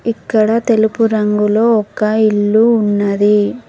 ఇక్కడ తెలుపు రంగులో ఒక ఇల్లు ఉన్నది.